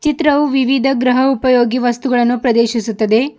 ಚಿತ್ರವು ವಿವಿಧ ಗ್ರಹ ಉಪಯೋಗಿ ವಸ್ತುಗಳನ್ನು ಪ್ರದರ್ಶಿಸುತ್ತದೆ.